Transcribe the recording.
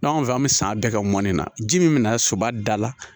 N'an fɛ an bɛ san bɛɛ kɛ mɔni na ji min bɛ na soba da la